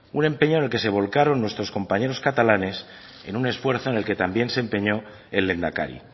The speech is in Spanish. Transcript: un empeño en el que se volcaron nuestros compañeros catalanes en un esfuerzo en el que también se empeñó el lehendakari